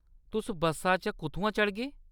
तुस बस्सा च कुʼत्थुआं चढ़गे ?